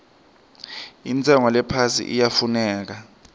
intshengo lephasi iyafuneka